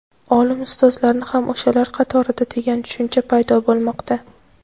olim ustozlarni ham o‘shalar qatorida degan tushuncha paydo bo‘lmoqda.